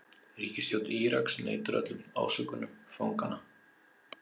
Ríkisstjórn Íraks neitar öllum ásökunum fanganna